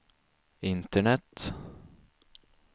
internet